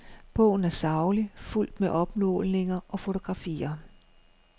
Bogen er saglig, fuldt med opmålinger og fotografier.